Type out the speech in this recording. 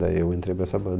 Daí eu entrei para essa